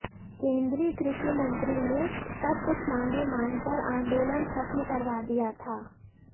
केन्द्रीय कृषि मंत्री ने तब कुछ मांगें मानकर आंदोलन खत्म करवा दिया था